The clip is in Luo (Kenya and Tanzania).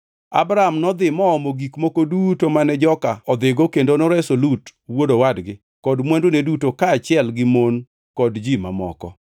Abram nodhi moomo gik moko duto mane joka odhigo kendo noreso Lut wuod owadgi kod mwandune duto kaachiel gi mon kod ji mamoko.